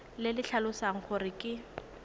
le le tlhalosang gore ke